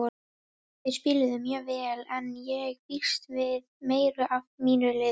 Þeir spiluðu mjög vel en ég býst við meiru af mínu liði.